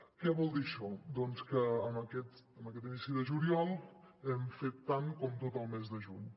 què vol dir això doncs que en aquest inici de juliol hem fet tant com tot el mes de juny